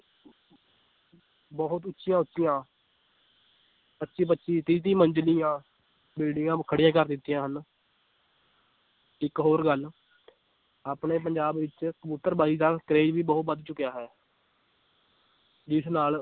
ਬਹੁਤ ਉੱਚੀਆਂ ਉੱਚੀਆਂ ਪੱਚੀ ਪੱਚੀ ਤੀਹ ਤੀਹ ਮੰਜਿਲੀਆਂ ਬਿਲਡਿੰਗਾਂ ਖੜੀਆਂ ਕਰ ਦਿੱਤੀਆਂ ਹਨ ਇੱਕ ਹੋਰ ਗੱਲ ਆਪਣੇ ਪੰਜਾਬ ਵਿੱਚ ਕਬੁਤਰ ਬਾਜ਼ੀ ਦਾ ਕਰੇਜ ਵੀ ਬਹੁਤ ਵੱਧ ਚੁੱਕਿਆ ਹੈ ਜਿਸ ਨਾਲ